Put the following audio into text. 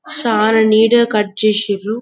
చాల నీట్ గ కట్ చేసిర్రు